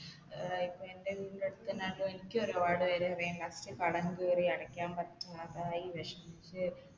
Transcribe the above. ഏർ ഇപ്പൊ എൻെറ വീടിൻെറ അടുത്ത് തന്നെ അതൊ എനിക്ക് ഒരുപാട് പേരെ അറിയാം last കടം കയറി അടക്കാൻ പറ്റാതായി വിഷമിച്ച്